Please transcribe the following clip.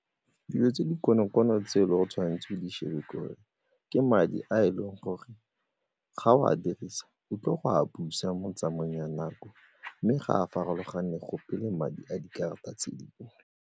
Dilo tse di konokono tse e le gore tshwanetse o di shebe ke gore ke madi a e leng gore ga o a dirisa o tlile go a busa mo tsamaong ya nako mme ga a farologane go pele madi a dikarata tse dingwe.